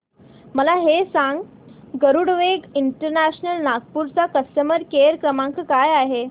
मला हे सांग गरुडवेग इंटरनॅशनल नागपूर चा कस्टमर केअर क्रमांक काय आहे